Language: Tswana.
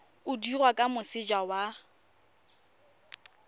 o dirwa kwa moseja wa